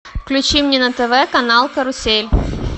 включи мне на тв канал карусель